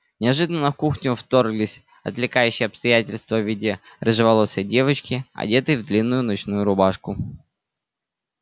неожиданно в кухню вторглось отвлекающее обстоятельство в виде рыжеволосой девочки одетой в длинную ночную рубашку